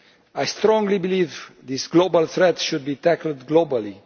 I strongly believe this global threat should be tackled globally.